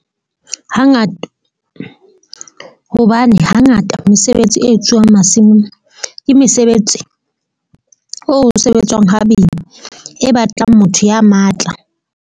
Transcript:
Hangata hobane hangata mesebetsi e etsuwang masimong ke mesebetsi oo sebetswang ha boima e batlang motho ya matla.